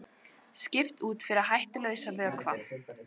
Skipt út fyrir hættulausan vökva